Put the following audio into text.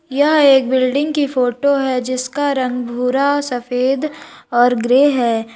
यह एक बिल्डिंग की फोटो है जिसका रंग भूरा सफेद और ग्रे है।